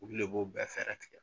Ulu le b'o bɛɛ fɛɛrɛ tigɛ.